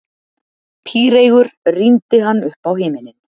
Píreygur rýndi hann uppá himininn.